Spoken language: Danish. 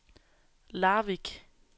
Larvik